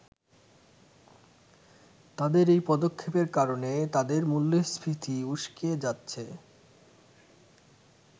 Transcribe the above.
তাদের এই পদক্ষেপের কারণে তাদের মূল্যস্ফীতি উস্কে যাচ্ছে।